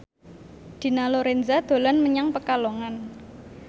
Dina Lorenza dolan menyang Pekalongan